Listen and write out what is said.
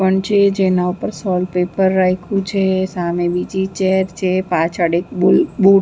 પણ છે જેના ઉપર સોલ્ટ પેપર રાઈખુ છે સામે બીજી ચેર છે પાછળ એક બુલ્બુ --